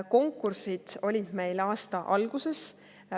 Konkursid olid meil aasta alguses.